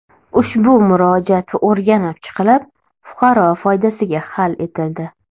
Ushbu murojaat o‘rganib chiqilib, fuqaro foydasiga hal etildi.